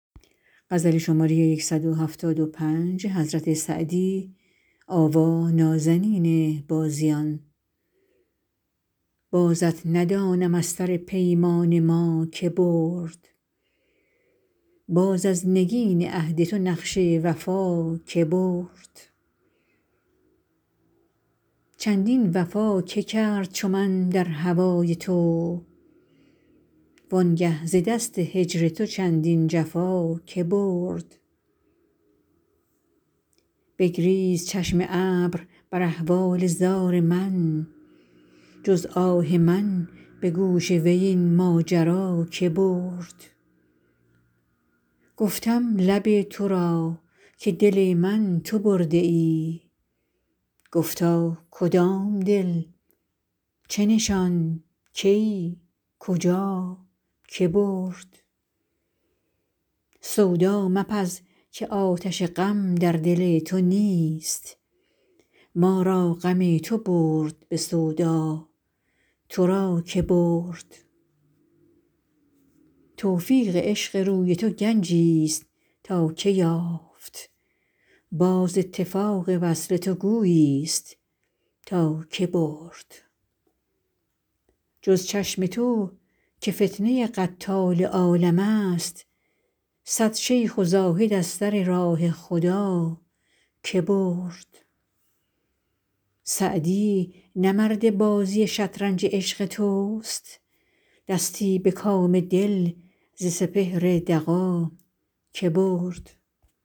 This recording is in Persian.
بازت ندانم از سر پیمان ما که برد باز از نگین عهد تو نقش وفا که برد چندین وفا که کرد چو من در هوای تو وان گه ز دست هجر تو چندین جفا که برد بگریست چشم ابر بر احوال زار من جز آه من به گوش وی این ماجرا که برد گفتم لب تو را که دل من تو برده ای گفتا کدام دل چه نشان کی کجا که برد سودا مپز که آتش غم در دل تو نیست ما را غم تو برد به سودا تو را که برد توفیق عشق روی تو گنجیست تا که یافت باز اتفاق وصل تو گوییست تا که برد جز چشم تو که فتنه قتال عالمست صد شیخ و زاهد از سر راه خدا که برد سعدی نه مرد بازی شطرنج عشق توست دستی به کام دل ز سپهر دغا که برد